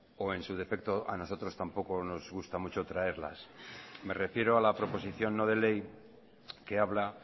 o en su defecto a nosotros tampoco nos gusta mucho traerlas me refiero a la proposición no de ley que habla